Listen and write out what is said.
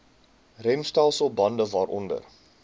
remstelsel bande waaronder